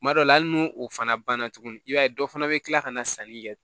Kuma dɔ la hali n'o fana banna tuguni i b'a ye dɔ fana bɛ tila ka na sanni kɛ